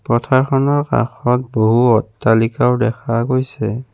পথাৰখনৰ কাষত বহু অট্টালিকাও দেখা গৈছে।